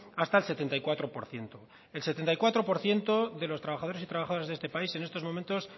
hasta el setenta y cuatro por ciento el setenta y cuatro por ciento de los trabajadores y trabajadoras de este país en estos momentos